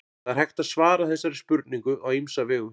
það er hægt að svara þessari spurningu á ýmsa vegu